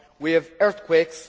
We have earthquakes.